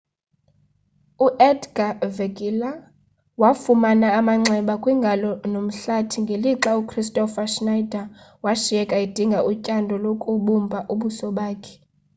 u-edgar verguilla wafumana amanxeba kwingalo nomhlathi ngelixa ukristofer schneider washiyeka edinga utyando lokubumbha ubuso bakhe